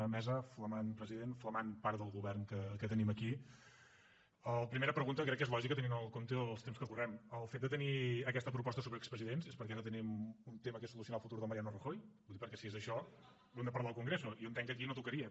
mesa flamant president flamant part del govern que tenim aquí la primera pregunta crec que és lògica tenint en compte els temps que correm el fet de tenir aquesta proposta sobre expresidents és perquè ara tenim un tema que és solucionar el futur del mariano rajoy ho dic perquè si és això ho hem de parlar al congreso jo entenc que aquí no tocaria